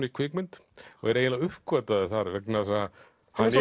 í kvikmynd og er eiginlega uppgötvaður þar vegna þess að hann